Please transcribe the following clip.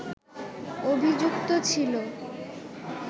অভিযুক্ত ছিল